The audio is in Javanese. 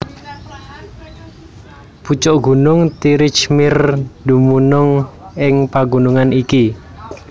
Pucuk gunung Tirich Mir dumunung ing pagunungan iki